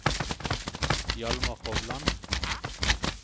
Hjalmar Hovland